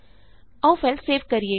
ਆਉ file save ਕਰੀਏ